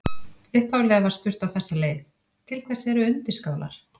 Upphaflega var spurt á þessa leið: Til hvers eru undirskálar?